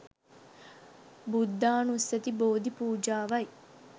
බුද්ධානුස්සති බෝධි පූජාවයි.